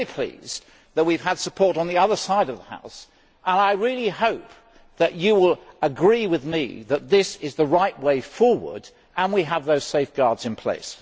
I am very pleased that we have had support on the other side of the House and I really hope that you will agree with me that this is the right way forward and we have those safeguards in place.